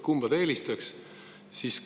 Kumba ta eelistaks?